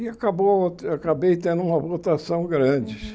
E acabou acabei tendo uma votação grande.